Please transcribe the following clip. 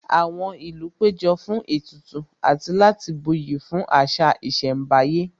Àwọn ìlú péjọ fún ètùtù àti láti buyì fún àṣà ìṣẹ̀mbáyé